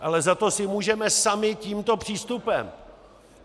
Ale za to si můžeme sami tímto přístupem.